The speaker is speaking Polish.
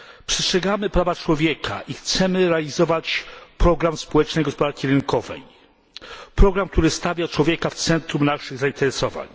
Przestrzegamy praw człowieka i chcemy realizować program społecznej gospodarki rynkowej program, który stawia człowieka w centrum naszych zainteresowań.